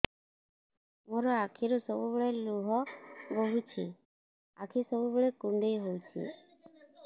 ମୋର ଆଖିରୁ ସବୁବେଳେ ଲୁହ ବୋହୁଛି ଆଖି ସବୁବେଳେ କୁଣ୍ଡେଇ ହଉଚି